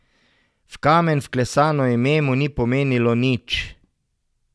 V kamen vklesano ime mu ni pomenilo nič.